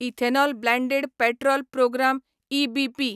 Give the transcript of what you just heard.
ethanol blended petrol programme EBP